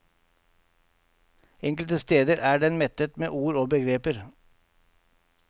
Enkelte steder er den mettet med ord og begreper.